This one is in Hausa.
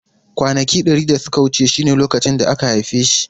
Kwanaki dari da suka wuce shine lokacin da aka haife shi.